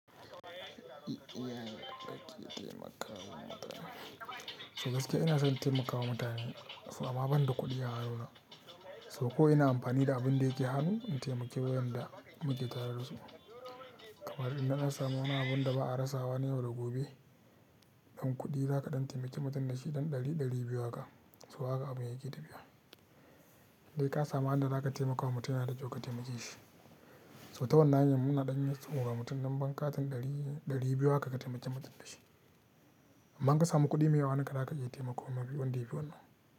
Yaya kake taimakawa mutane. To gaskiya ina son taimakawa mutane. So amma ban da kuɗi a rayuwana. So ko ina amfani da abin da yake hanu in taimaki waƴanda muke tare da su. Kamar idan na samu wani abun da ba'a rasawa ne yau da gobe ɗan kuɗi, za ka ɗan taimaki mutum da shi ɗan ɗari ɗari biyu haka. So haka abun yake tafiya. Sai ka samu hannun da za ka taimakawa mutum yana da kyau ka taimake shi. So ta wannan hanyar muna ɗan iya sawo wa mutum numban katin ɗari ɗari biyu haka ka taimaki mutum da shi. Amma in ka samu kuɗi mai yawa a hannunka za ka iya taimakon ma wanda ya fi wannan.